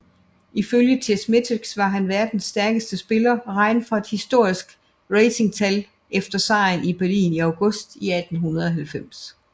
Ifølge Chessmetrics var han verdens stærkeste spiller regnet fra et historisk ratingtal efter sejren i Berlin i august 1890